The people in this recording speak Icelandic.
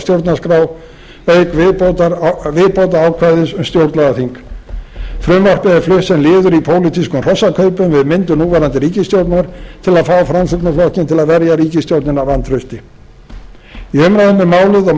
stjórnarskrá auk viðbótarákvæðis um stjórnlagaþing frumvarpið er flutt sem liður í pólitískum hrossakaupum við myndun núverandi ríkisstjórnar til að fá framsóknarflokkinn til að verja ríkisstjórnina vantrausti í umræðum um málið og